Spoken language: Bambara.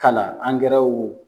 k'a la angɛrɛw